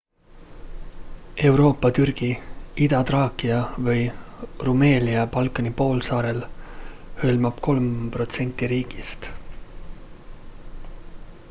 euroopa türgi ida-traakia või rumelia balkani poolsaarel hõlmab 3% riigist